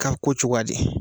Ka ko cogoya di